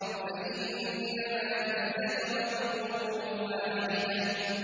فَإِنَّمَا هِيَ زَجْرَةٌ وَاحِدَةٌ